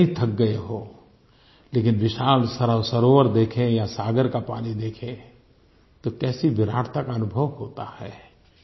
हम कितने ही थक गए हों लेकिन विशाल सरोवर देखें या सागर का पानी देखें तो कैसी विराटता का अनुभव होता है